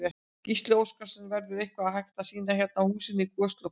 Gísli Óskarsson: Verður eitthvað hægt að sýna hérna af húsinu á Goslokunum?